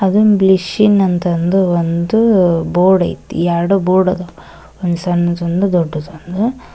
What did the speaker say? ಅದನ್ ಗ್ಲಿಸಿನ್ ಅಂತ ಅಂದು ಒಂದು ಬೋರ್ಡ್ ಅತಿ ಎರಡು ಬೋರ್ಡ್ ಅದಾವ ಸಣ್ಣದೊಂದು ದೊಡ್ಡದೊಂದು--